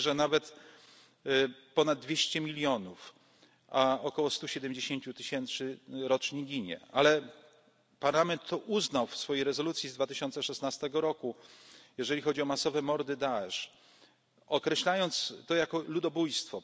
Mówi się, że nawet ponad 200 milionów. Około 170 tysięcy rocznie ginie. Parlament uznał to w swojej rezolucji z 2016 roku, jeżeli chodzi o masowe mordy Daesz, określając to jako